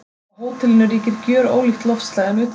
Á hótelinu ríkir gjörólíkt loftslag en utandyra.